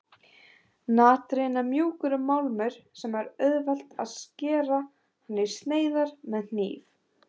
Natrín er mjúkur málmur og það er auðvelt að skera hann í sneiðar með hníf.